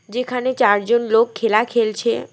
যেখানে চারজন লোক খেলা খেলছে।